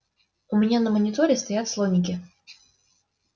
у меня на мониторе стоят слоники